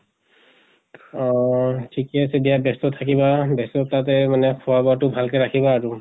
অহ ঠিকে আছে দিয়া ব্য়স্ত থাকিবা, ব্য়স্ততাতে খোৱা বোৱা টো ভাল কে ৰাখিবা আৰু।